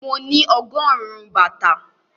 Mo ní ọgọ́rùn-ún bàtà.